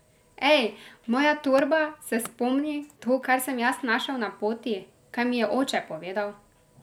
Ej, moja torba, se spomni, to, kar sem jaz našel na poti, kaj mi je oče povedal!